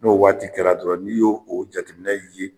N'o waati kɛra dɔrɔn n'i y'o o jateminɛ ye